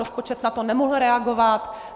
Rozpočet na to nemohl reagovat.